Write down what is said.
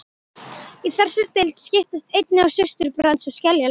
Í þessari deild skiptast einnig á surtarbrands- og skeljalög.